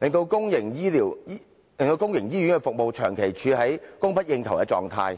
令公營醫院的服務長期處於供不應求的狀態。